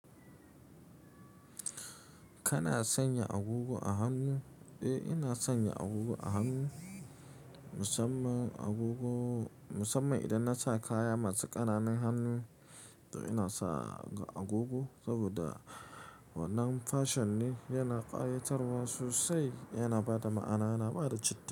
Kana sanya agogo a hannu? Eh, ina sanya agogo a hannu, musamman agogo, musamman idan na sa kaya masu ƙananan hannu, to ina sa agogo saboda wannan fashion ne yana ƙayatarwa sosai, yana ba da ma'ana, yana ba da citi.